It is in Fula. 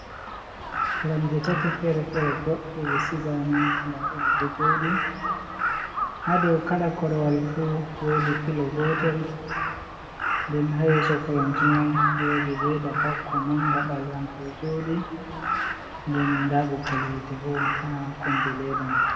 Koromje tati fere-fere boɗɗe ɗe sigama, nda ɗe ɗo jooɗi ha dou kala korwal fu woodi pilo gotel, den ha yeeso koromje mai wodi ledda bakko manga ɓalewa nga ɗo jooɗi nden nda ɓoggol yiite bo ha kombi leeda mai.